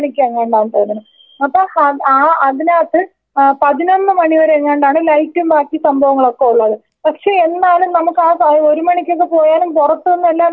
അപ്പൊ ആ അതിനകത്ത് ആ പതിനൊന്ന് മണി വരെ എങ്ങാണ്ടാണ് ലൈറ്റും ബാക്കി സംഭവങ്ങളൊക്കെ ഒള്ളത് പക്ഷേ എന്നാലും നമുക്ക് ആ ഒരു മണിക്കൊക്കെ പോയാലും പൊറത്തിന്നെല്ലാം വിശദമായിട്ട് കാണാൻ പറ്റും.